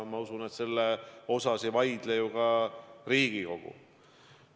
Ma usun, et sellele ei vaidle vastu ka Riigikogu.